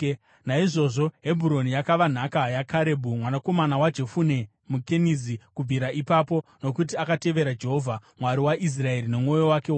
Naizvozvo Hebhuroni yakava nhaka yaKarebhu mwanakomana waJefune muKenizi kubvira ipapo, nokuti akatevera Jehovha, Mwari waIsraeri, nomwoyo wake wose.